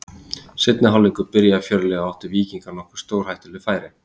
Seinni hálfleikur byrjaði fjörlega og áttu Víkingar nokkur stórhættuleg færi.